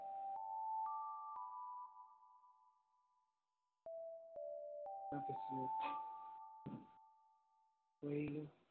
ওলাই গলোঁ।